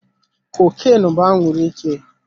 Cocaine bụ anwuru ike.